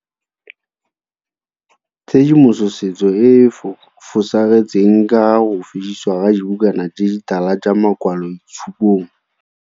Tshedimosetso e e fosagetseng ka ga go fedisiwa ga dibukana tse ditala tsa makwaloitshupong.